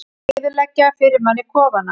Eyðileggja fyrir manni kofana!